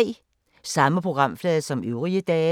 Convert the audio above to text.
Samme programflade som øvrige dage